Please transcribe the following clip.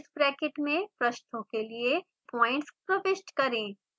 इस ब्रैकेट में पृष्ठों के लिए पॉइंट्स प्रविष्ट करें